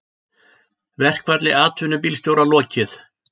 Verkfalli atvinnubílstjóra lokið